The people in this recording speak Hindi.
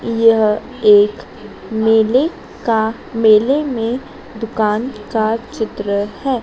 यह एक मेले का मेले में दुकान का चित्र है।